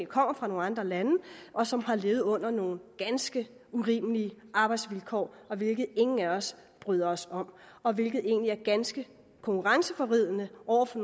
kommer fra andre lande og som har levet under nogle ganske urimelige arbejdsvilkår hvilket ingen af os bryder os om og hvilket egentlig er ganske konkurrenceforvridende over for